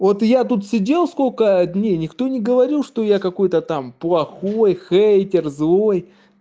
вот и я тут сидел сколько дней никто не говорил что я какой-то там плохой хейтер злой